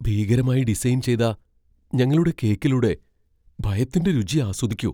ഭീകരമായി design ചെയ്ത ഞങ്ങളുടെ കേക്കിലൂടെ ഭയത്തിന്റെ രുചി ആസ്വദിക്കൂ.